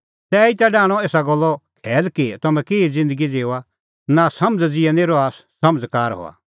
तैही डाहणअ एसा गल्लो खैल कि तम्हैं केही ज़िन्दगी ज़िऊआ नांसमझ़ ज़िहै निं रहा समझ़कार हआ